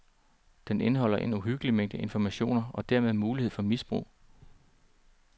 Den indeholder en uhyggelig mængde information og dermed mulighed for misbrug.